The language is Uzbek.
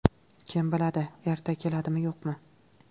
Kim biladi, erta keladimi, yo‘qmi?”.